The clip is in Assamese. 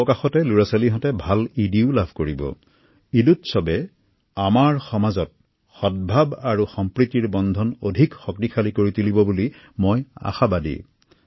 মই আশা কৰো যে পবিত্ৰ ঈদ উৎসৱে সমাজত ঐক্য সম্প্ৰীতি আৰু ভাতৃত্ববোধৰ এনাজৰী সুদৃঢ় কৰিব